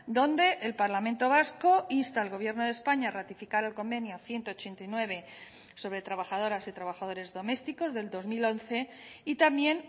donde el parlamento vasco insta al gobierno de españa a ratificar el convenio ciento ochenta y nueve sobre trabajadoras y trabajadores domésticos del dos mil once y también